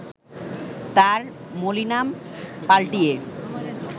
তার মলি নাম পাল্টিয়ে